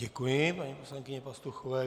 Děkuji paní poslankyni Pastuchové.